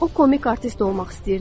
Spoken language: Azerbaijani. O komik artist olmaq istəyirdi.